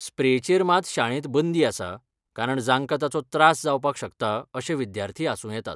स्प्रेचेर मात शाळेंत बंदी आसा कारण जांकां ताचो त्रास जावपाक शकता अशे विद्यार्थी आसूं येतात .